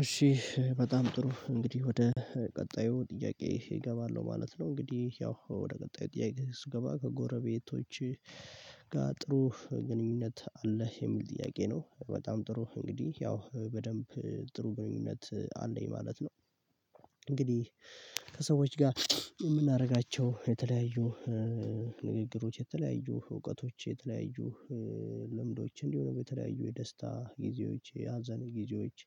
እሺ በጣም ጥሩ እንግዲህ ወደ ቀጣዩ ጥያቄ እገባለሁ ማለት ነው። እንግዲህ ያው ወደ ቀጣይ ጥያቄ ስገባ ከጎረቤቶች ጋር ጥሩ ግንኙነት አለህ የሚል ጥያቄ ነው። በጣም ጥሩ እንግዲህ ያው በደንብ ጥሩ ግንኙነት አለኝ ማለት ነው። እንግዲህ ከሰዎች ጋር የምናደርጋቸው የተለያዩ ንግግሮች የተለያዩ እውቀቶች የተለያዩ ልምዶች እንዲሆን የተለያዩ የደስታ ጊዜዎች የአዘን ጊዜዎች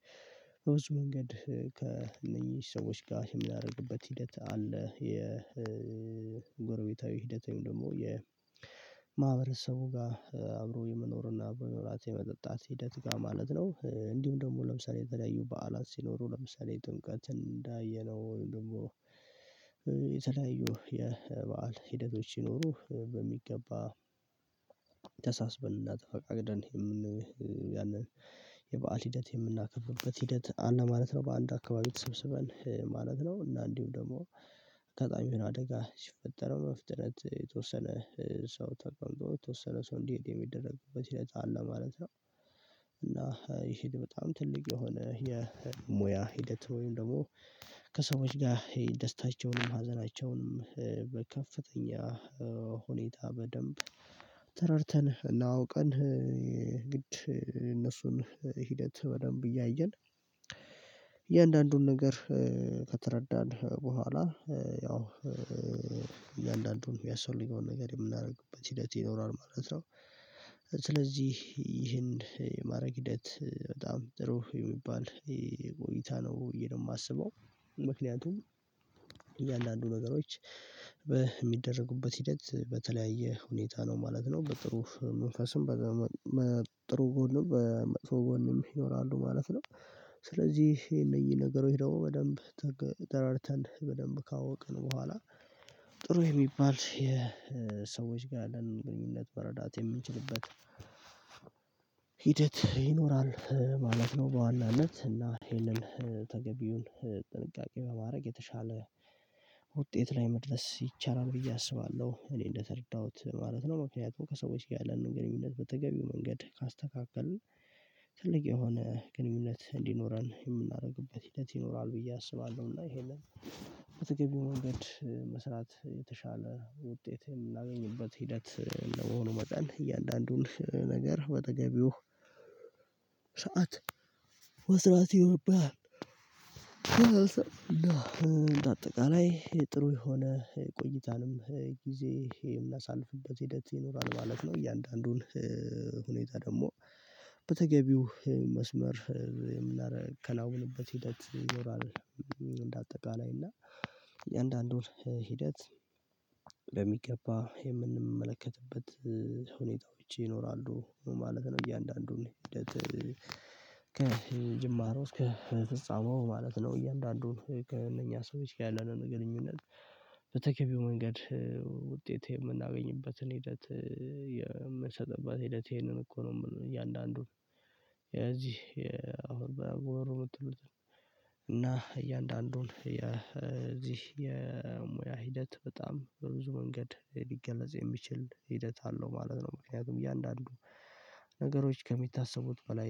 በብዙ መንገድ ከእነኚህ ሰዎች ጋር ምን ያደርግበት ሂደት አለ? የጎረቤታዊ ሂደቴን ደግሞ የማህበረሰቡ ጋር አብሮ የምኖርና አብሮ መጠጣት ሂደት ጋር ማለት ነው። እንዲሁ ደግሞ ለምሳሌ የተለያዩ በዓላት ሲኖሩ ለምሳሌ የጥምቀትን እንዳየነው ደግሞ የተለያዩ የበአል ሂደቶች ይኖሩ በሚገባ ተሳስበንና ተፈፋቅደን የምን ያንን የበአል ሂደት የምናከፍሉበት ሂደት አንድ ማለት ነው። በአንድ አካባቢ ተሰብስበን ማለት ነው። እና እንዲሁ ደግሞ አካባቢውን አደጋ ሲፈጠረው በፍጥነት የተወሰነ ሰው ተቋምጧል የተወሰነ ሰው እንዲሄድ የሚደረግበት ይሄዳል ማለት ነው። እና ይሄ በጣም ትልቅ የሆነ የሙያ ሂደት ወይም ደግሞ ከሰዎች ጋር ደስታቸውንም ሀዘናቸውንም በከፍተኛ ሁኔታ በደንብ ተረድተን እና ኣውቀን ግድ እነሱን ሂደት በደንብ እያየን እያንዳንዱን ነገር ከተረዳን በኋላ ያው እያንዳንዱን የሚያስፈልገውን ነገር የምናደርግበት ሂደት ይኖራል ማለት ነው። ስለዚህ ይህን የማድረግ ሂደት በጣም ጥሩ የሚባል ይሄ ቆይታ ነው ብየ ነው የማስበው። ምክንያቱም እያንዳንዱ ነገሮች በሚደረጉበት ሂደት በተለያየ ሁኔታ ነው ማለት ነው በጥሩ መንፈስም በጥሩ ጎንም በመጥፎ ጎንም ይኖራሉ ማለት ነው። ስለዚህ ይሄ እነኚህ ነገሮች ደግሞ በደንብ ተጠራርተን በደንብ ካወቅን በኋላ ጥሩ የሚባል የሰዎች ጋር ያለን ግንኙነት መረዳት የምንችልበት ይኖራል ማለት ነው። በዋናነት እና ይሄንን ተገቢውን ጥንቃቄ በማድረግ የተሻለ ውጤት ላይ መድረስ ይቻላል ብዬ አስባለሁ። እኔ እንደተረዳሁት ማለት ነው ምክንያቱም ከሰዎች ያለንን ግንኙነት በተገቢው መንገድ ካስተካከልን ትልቅ የሆነ ግንኙነት እንዲኖረን የምናደርግበት ሂደት ይኖራል ብዬ አስባለሁ። እና የሀንን በተገቢው ነገድ መስራት የተሻለ ውጤት የምናገኝበት ሂደት ለመሆኑ መጣን እያንዳንዱን ነገር በተገቢው በተገቢው ሰዓት መስራት ይኖርብሃል። አጠቃላይ ጥሩ የሆነ ቆይታንም ጊዜ የምናሳልፍበት ሂደት ይኖራል ማለት ነው። እያንዳንዱን ሁኔታ ደግሞ በተገቢው መስመር ከላወቅንበት ሂደት ይኖራል እንደ አጠቃላይ እና የአንዳንዱን ሂደት በሚገባ የምንመለከትበት ሁኔታዎች ይኖራሉ ማለት ነው። እያንዳንዱን ከጅማሮ እስከ ፍጻሜው ማለት ነው። እያንዳንዱን ከእነኛ ሰዎች ያለነው ግንኙነት በተገቢው መንገድ ውጤት የምናገኝበትን ሂደት የምንሰጥበት ሂደት ይሄንን እኮ ነው የምንለው። እያንዳንዱን የዚህ የአሁን በሃገሩ ምትሉት እና እያንዳንዱን የዚህ የሙያ ሂደት በጣም በብዙ መንገድ ሊገለጽ የሚችል ሂደት አለው ማለት ነው። ምክንያቱም እያንዳንዱ እያንዳንዱ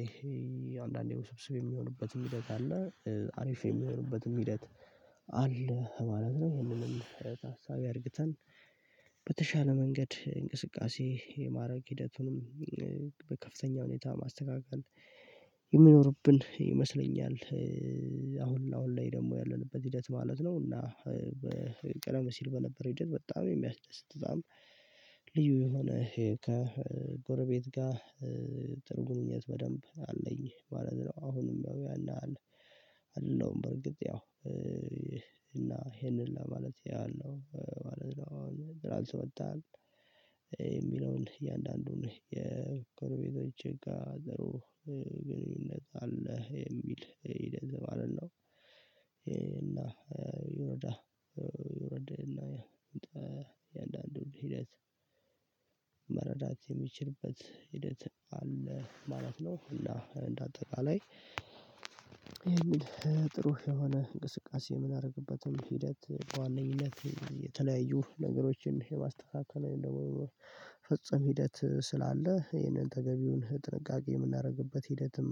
ነገሮች በሚደረጉበት ሂደት በተለያየ ሁኔታ ነው ማለት ነው። በጥሩ መንፈስም በጥሩ ጎንም በመጥፎ ጎንም ይኖራሉ ማለት ነው። ስለዚህ ይሄ እነኚህ ነገሮች ደግሞ በደንብ ተጠራርተን በደንብ ካወቅን በኋላ ጥሩ የሚባል የሰዎች ጋር ያለን ግንኙነት በመረዳት የምንችልበት ቀደም ሲል በነበረ ሂደት በጣም የሚያስደስት ህዝብ ልዩ የሆነ ከጎረቤት ጋር ትርጉም ግንኙነት በደንብ አለኝ ማለት ነው። አሁንም ያው ያለህ አለ አይደለም በርግጥ ያው እና ይሄንን ለማለት ኣያለሁ ማለት ነው። አሁን ብራንስ ወጣህ የሚለውን እያንዳንዱን የቼጎረቤቶ እጋ ዘሮ ግንኙነት አለ የሚል ይደንዝም አለን ነው። ይረዳ ይረድህና የእንዳንዱ ሂደት መረዳት የሚችልበት ሂደት አለ ማለት ነው። እና እንደ አጠቃላይ ጥሩ የሆነ እንቅስቃሴ የምናደርግበትም ሂደት በዋነኝነት የተለያዩ ነገሮችን የማስተካከለው ደግሞ ፍጹም ሂደት ስላለ ይሄንን ተገቢውን ጥንቃቄ የምናደርግበት ሂደትም